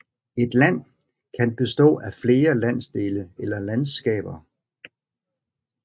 Et land kan bestå af flere landsdele eller landskaber